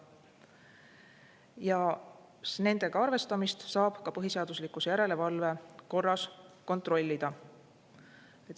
Ja nendega arvestamist saab ka põhiseaduslikkuse järelevalve korras kontrollida.